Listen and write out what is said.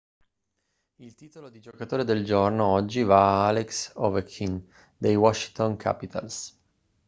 il titolo di giocatore del giorno oggi va a alex ovechkin dei washington capitals